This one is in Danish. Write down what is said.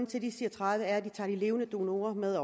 til at de siger tredive er de tager de levende donorer med